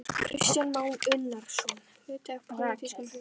Kristján Már Unnarsson: Hluti af pólitískum hreinsunum?